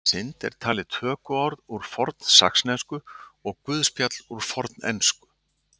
Orðið synd er talið tökuorð úr fornsaxnesku og guðspjall úr fornensku.